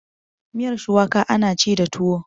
miyar shuwaka ana ci da tuwo